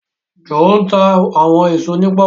Joe nta àwọn èso ní poku.